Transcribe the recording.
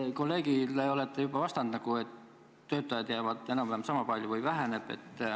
Meie kolleegile te olete juba vastanud, et töötajate arv jääb enam-vähem samaks või väheneb.